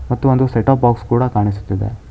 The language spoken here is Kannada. ಮತ್ತು ಒಂದು ಸೆಟ್ ಅಪ್ ಬಾಕ್ಸ್ ಕೂಡ ಕಾಣಿಸುತ್ತಿದೆ.